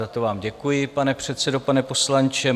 Za to vám děkuji, pane předsedo, pane poslanče.